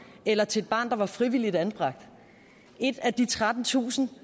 eller til et barn der var frivilligt anbragt et af de trettentusind